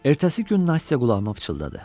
Ertəsi gün Nastya qulağıma pıçıldadı.